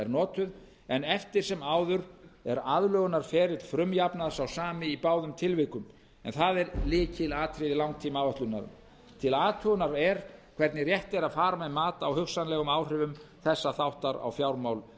notuð en eftir sem áður er aðlögunarferill frumjafnaðar sá sami í báðum tilvikum en það er lykilatriði langtímaáætlunar til athugunar er hvernig rétt er að fara með mat á hugsanlegum áhrifum þessa þáttar á fjármál